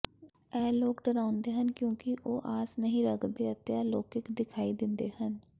ਇਹ ਲੋਕ ਡਰਾਉਂਦੇ ਹਨ ਕਿਉਂਕਿ ਉਹ ਆਸ ਨਹੀਂ ਰੱਖਦੇ ਅਤੇ ਅਲੌਕਿਕ ਦਿਖਾਈ ਦਿੰਦੇ ਹਨ